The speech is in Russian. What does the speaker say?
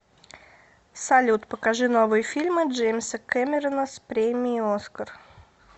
салют покажи новые фильмы джеимса кемеррона с премиеи оскар